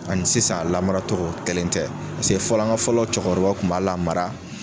Ani sisan a lamara togo kelen tɛ paseke fɔlɔ an ka fɔlɔ cɔkɔrɔbaw kun b'a lamara.